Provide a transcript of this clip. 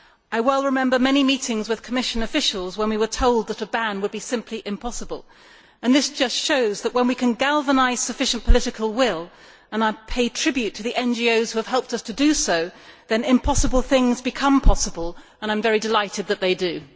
I well remember many meetings with Commission officials when we were told that a ban would be simply impossible. Well, this just shows that when we can galvanise sufficient political will and I pay tribute to the NGOs which have helped us to do so then impossible things become possible, and I am delighted that they do.